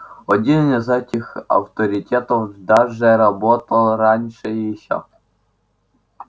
один из этих авторитетов даже работал раньше ещё